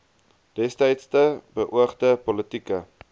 destydse beoogde politieke